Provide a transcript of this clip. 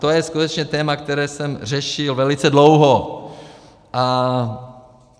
To je skutečně téma, které jsem řešil velice dlouho.